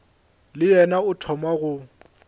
le yena o thoma go